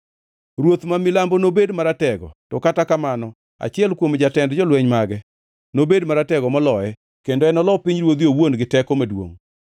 “Ruoth ma milambo nobed maratego, to kata kamano achiel kuom jatend jolweny mage nobed maratego moloye, kendo enolo pinyruodhe owuon gi teko maduongʼ.